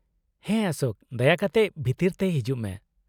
-ᱦᱮᱸ ᱚᱥᱳᱠ, ᱫᱟᱭᱟ ᱠᱟᱛᱮ ᱵᱷᱤᱛᱟᱹᱨ ᱛᱮ ᱦᱤᱡᱩᱜ ᱢᱮ ᱾